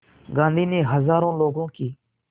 गांधी ने हज़ारों लोगों की